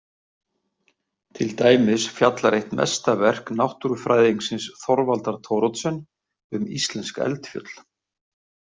Til dæmis fjallar eitt mesta verk náttúrufræðingsins Þorvaldar Thoroddsen um íslensk eldfjöll.